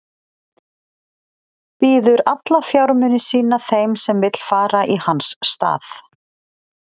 Býður alla fjármuni sína þeim sem vill fara í hans stað.